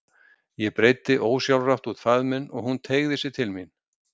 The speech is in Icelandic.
Ég breiddi ósjálfrátt út faðminn og hún teygði sig til mín.